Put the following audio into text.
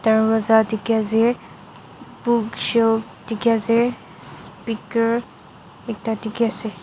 darwaza dikhiase book shell dikhiase speaker ekta dikiase.